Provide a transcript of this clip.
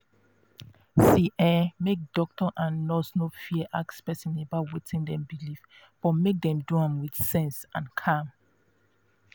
see ehnmake doctor and and nurse no fear ask person about wetin dem believe but make dem do am with sense and calm.